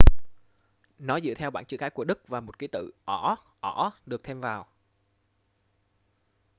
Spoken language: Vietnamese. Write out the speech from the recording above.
nó dựa theo bảng chữ cái của đức và một ký tự õ/õ được thêm vào